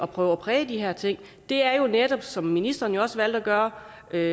prøve at præge de her ting er som ministeren også valgte at gøre at